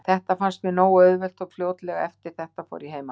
Þetta fannst mér nógu auðvelt og fljótlega eftir þetta fór ég heim aftur.